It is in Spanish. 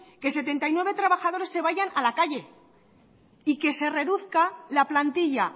que setenta y nueve trabajadores se vayan a la calle y que se reduzca la plantilla